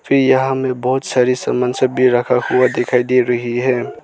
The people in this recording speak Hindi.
भी यहां में बहोत सारी सामान सब भी रखा हुआ दिखाई दे रही है।